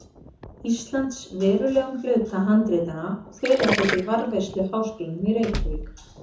Íslands verulegum hluta handritanna og fela þau til varðveislu Háskólanum í Reykjavík.